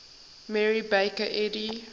mary baker eddy